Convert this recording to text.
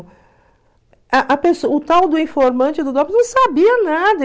A a o tal do informante do não sabia nada.